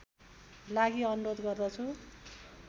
लागि अनुरोध गर्दछु